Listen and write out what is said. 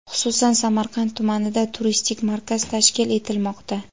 Xususan, Samarqand tumanida turistik markaz tashkil etilmoqda.